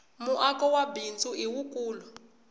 muako wa bindzu i wukulu